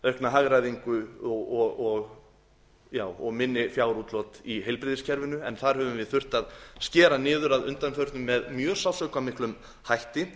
aukna hagræðingu og minni fjárútlát í heilbrigðiskerfinu en þar höfum við þurft að skera niður að undanförnu með mjög sársaukamiklum hætti